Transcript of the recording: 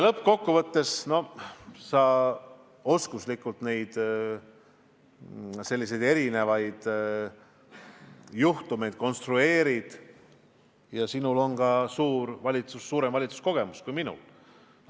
Lõppkokkuvõttes sa konstrueerid selliseid erinevaid juhtumeid osavalt ja sinul on ka suurem valitsuskogemus kui minul.